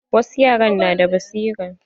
Wasu yaran na da basira.